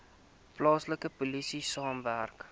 plaaslike polisie saamwerk